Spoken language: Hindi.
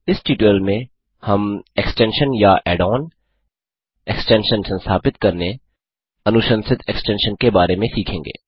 इस ट्यूटोरियल में हम एक्सटेंशन या ऐड ऑन एक्सटेंशन संस्थापित करने अनुशंसित एक्सटेंशन के बारे में सीखेंगे